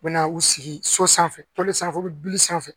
U bɛ na u sigi so sanfɛ sanfɛ u bɛ bili sanfɛ